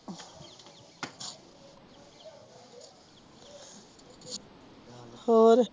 ਹੋਰ